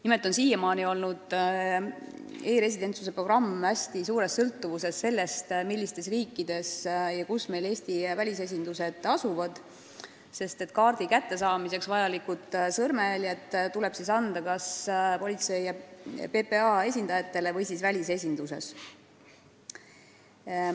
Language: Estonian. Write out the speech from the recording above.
Nimelt on e-residentsuse programm seni olnud hästi suures sõltuvuses sellest, kus asuvad Eesti välisesindused, sest kaardi kättesaamiseks vajalikud sõrmejäljed tuleb anda kas PPA esindajale või siis välisesinduses.